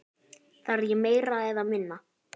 Þarf ég meira eða minna?